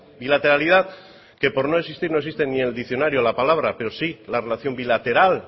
bilateralidad que por no existir no existe ni en el diccionario la palabra pero sí la relación bilateral